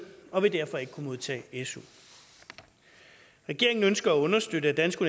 og vil derfor ikke kunne modtage su regeringen ønsker at understøtte at danske